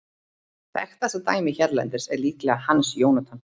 Þekktasta dæmið hérlendis er líklega Hans Jónatan.